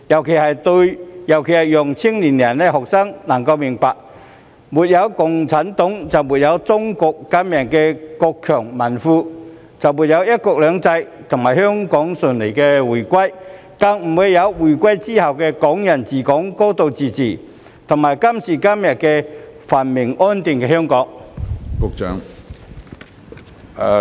此舉尤其可讓青年人和學生明白，沒有共產黨就沒有中國今日的國強民富，也沒有"一國兩制"和香港順利回歸，更不會有回歸後的"港人治港"、"高度自治"，以及今時今日繁榮安定的香港。